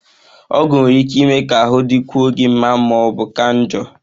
Ọgwụ nwere ike ime ka ahụ dịkwuo gị mma ma ọ bụ ka njọ